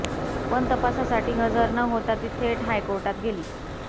पण तपासासाठी हजर न होता ती थेट हायकोर्टात गेली